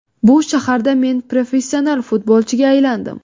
Bu shaharda men professional futbolchiga aylandim.